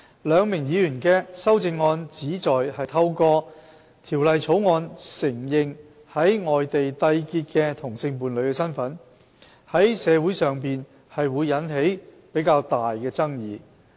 兩名議員的修正案旨在透過《條例草案》承認在外地締結的同性伴侶的身份，在社會上會引起比較大的爭議。